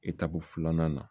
filanan na